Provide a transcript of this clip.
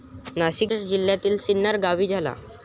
नाशिक जिल्ह्यातील सिन्नर गावी झाला.